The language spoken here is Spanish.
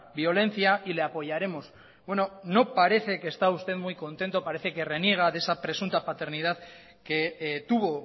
violencia y le apoyaremos bueno no parece que está usted muy contento parece que reniega de esa presunta paternidad que tuvo